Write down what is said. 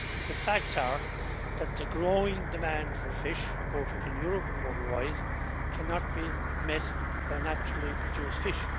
But the facts are that the growing demand for fish, both in Europe and worldwide, cannot be met by naturally produced fish.